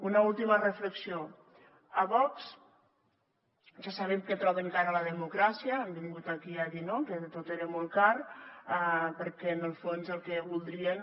una última reflexió a vox ja sabem que troben cara la democràcia han vingut aquí a dir no que tot era molt car perquè en el fons el que voldrien